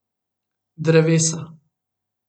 Drevesa.